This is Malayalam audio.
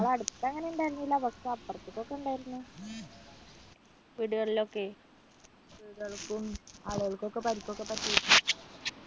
ഞങ്ങടെ അടുത്തെങ്ങനെ ഉണ്ടായിരുന്നില്ല പക്ഷേ അപ്പുറത്ത് ഒക്കെ ഉണ്ടായിരുന്നു വീടുകളിൽ ഒക്കെ വീടുകൾക്കും ആളുകൾക്കും ഒക്കെ പരിക്ക് പറ്റിയിട്ടുണ്ടായിരുന്നു